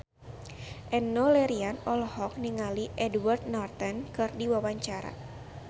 Enno Lerian olohok ningali Edward Norton keur diwawancara